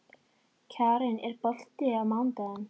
Kjaran, er bolti á mánudaginn?